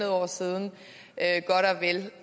år siden